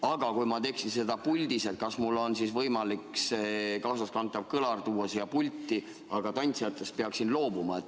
Aga kui ma esineksin puldis, kas mul on siis võimalik kaasaskantav kõlar tuua siia pulti, aga tantsijatest peaksin loobuma?